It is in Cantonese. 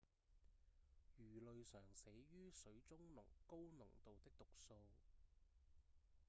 魚類常死於水中高濃度的毒素